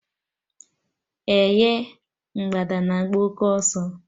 Eh ye! Mgbada na-agba òké ọsọ